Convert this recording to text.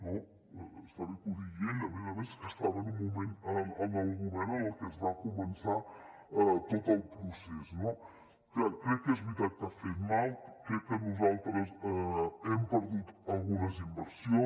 no està bé que ho digui ell a més a més que estava en un moment en el govern en què es va començar tot el procés no clar crec que és veritat que ha fet mal crec que nosaltres hem perdut algunes inversions